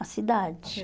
Na cidade.